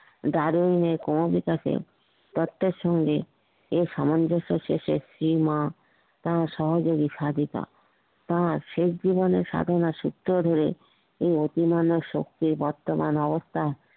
Darwin এর ক্ষমিবাকে তত্ত্বের সাথে এর সামঞ্জস্যে শেষে কিংবা তার সহযোগী সাধিকা তার শেষ জীবনের সাধনার সুত্র ধরে এই অতিমানব শক্তির বর্তমান অবস্থা